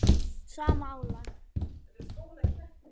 sama álag?